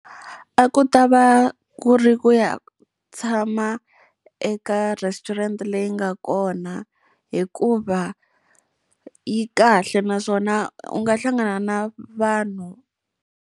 A ku ta va ku ri ku ya tshama eka restaurant leyi nga kona, hikuva yi kahle naswona u nga hlangana na vanhu.